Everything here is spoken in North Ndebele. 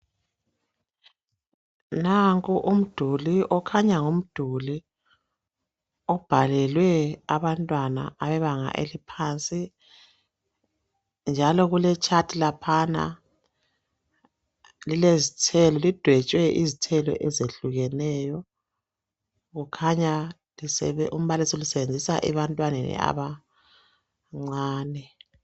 Nanko umduli okhanya ngumduli ovalele abantwana bebanga eliphansi njalo kuletshathi laphana lidwetshwe izithelo ezehlukeneyo kukhanya umbalisi ulisebenzisa ebantwaneni abancane.